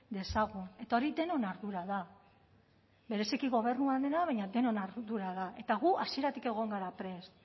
dezagun eta hori denon ardura da bereziki gobernuarena baina denon ardura da eta gu hasieratik egon gara prest